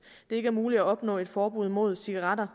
det ikke er muligt at opnå et forbud imod cigaretter